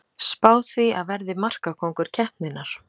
Spái því að verði markakóngur keppninnar!